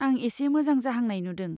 आं एसे मोजां जाहांनाय नुदों।